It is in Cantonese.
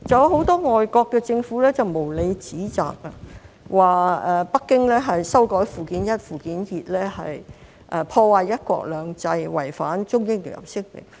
很多外國政府無理指責，說北京修改附件一、附件二是破壞"一國兩制"，違反《中英聯合聲明》。